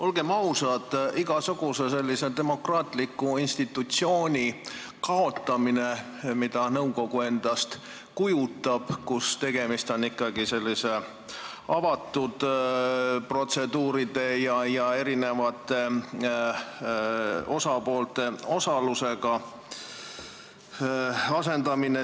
Olgem ausad, igasuguse demokraatliku institutsiooni asendamine ühe ministri otsustusega riivab nii avatust, läbipaistvust kui ka demokraatlikke printsiipe, nagu ma juba ütlesin.